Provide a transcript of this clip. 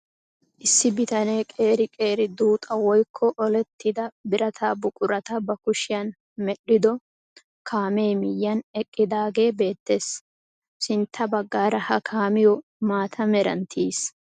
Issi bitanee qeri qeri duuxa woykko olettida birata buqurata ba kushiyaan medhdhido kaamee miyiyaan eqqidaagee beettees. sintta baggaara ha kaamiyoo maata meran tiyiis.